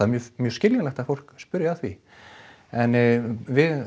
mjög mjög skiljanlegt að fólk spyrji að því en